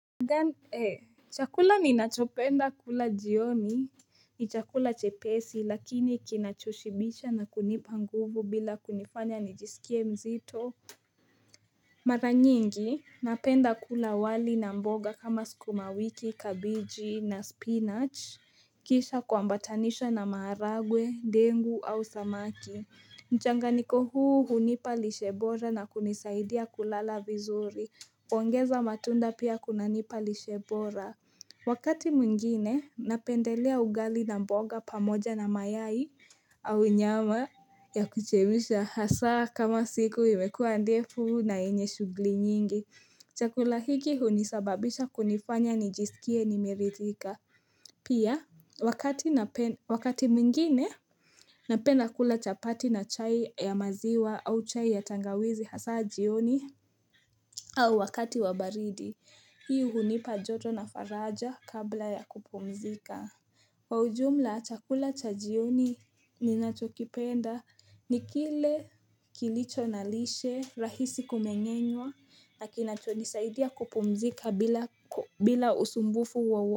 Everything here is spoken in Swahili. E, chakula ninachopenda kula jioni, ni chakula chepesi lakini kinachoshibisha na kunipa nguvu bila kunifanya nijisikie mzito Mara nyingi, napenda kula wali na mboga kama sukuma wiki, kabiji na spinach Kisha kwambatanisha na maharagwe, dengu au samaki Mchanganiko huu hunipa lishe bora na kunisaidia kulala vizuri. Ongeza matunda pia kunanipa lishe bora Wakati mwingine napendelea ugali na mboga pamoja na mayai au nyama ya kuchemsha hasa kama siku imekuwa ndefu na yenye shugli nyingi Chakula hiki hunisababisha kunifanya nijisikie nimeritika Pia wakati mwingine napenda kula chapati na chai ya maziwa au chai ya tangawizi hasa jioni au wakati wa baridi, hii hunipa joto na faraja kabla ya kupumzika Kwa ujumla, chakula cha jioni ninachokipenda ni kile kilicho na lishe rahisi kumeng'enwa na kinacho nisaidia kupumzika bila usumbufu wa wa.